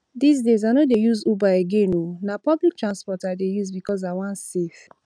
dis days i no dey use uber again oo na public transport i dey use because i wan save